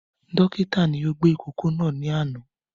Dókítà ni ó gbé ìkókó náà ní àná